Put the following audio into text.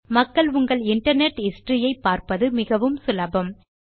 மக்கள் உங்கள் internet history ஐ பார்ப்பது மிகவும் சுலபம்